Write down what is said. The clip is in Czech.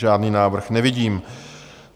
Žádný návrh nevidím.